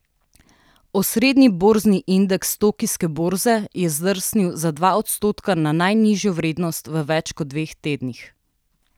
Osrednji borzni indeks tokijske borze je zdrsnil za dva odstotka na najnižjo vrednost v več kot dveh tednih.